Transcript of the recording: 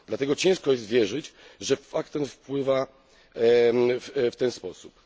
Dlatego ciężko jest wierzyć, że fakt ten wpływa w ten sposób.